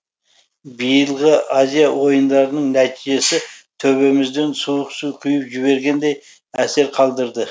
биылғы азиада ойындарының нәтижесі төбемізден суық су құйып жібергендей әсер қалдырды